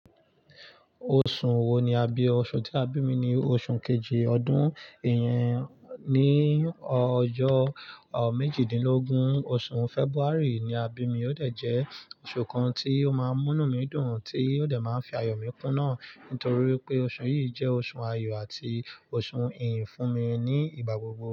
Oṣù wo ni a bí ọ. Oṣù tí a bímí ni oṣù kejì ọdún, ìyẹn ní ọjọ́ mejidinlogin oṣù February ni a bímí, ó dẹ̀ jẹ́ oṣù kan tí ó máa ń mú inú mi dùn tí ó dẹ̀ máa ń fi ayọ̀ mi kún na nítorí pé oṣù yìí jẹ́ oṣù ayọ̀ àti oṣù ìyìn fún mi ní ìgbà gbogbo.